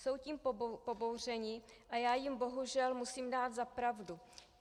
Jsou tím pobouřeni a já jim bohužel musím dát za pravdu.